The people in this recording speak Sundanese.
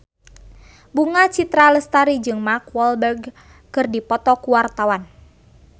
Bunga Citra Lestari jeung Mark Walberg keur dipoto ku wartawan